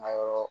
Ma yɔrɔ